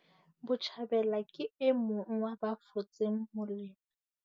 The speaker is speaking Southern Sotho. Botjhabela ke e mong wa ba fotseng molemo.